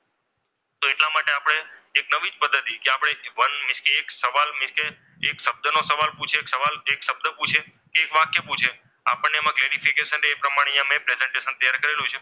તો એટલા માટે આપણે એક નવી જ પદ્ધતિ કે આપણે એક વન એક શબ્દનો સવાલ પૂછે તો કે એક શબ્દ પૂછી એક વાક્ય પૂછે આપણને એમાં clarification રે મેં અહીંયા એ પ્રમાણે presentation તૈયાર કરેલું છે.